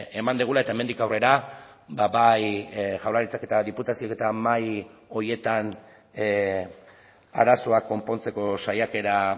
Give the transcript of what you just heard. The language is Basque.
eman dugula eta hemendik aurrera bai jaurlaritzak eta diputazioek eta mahai horietan arazoak konpontzeko saiakera